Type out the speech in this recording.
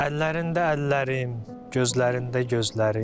Əllərində əllərim, gözlərində gözlərim.